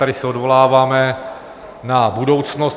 Tady se odvoláváme na budoucnost.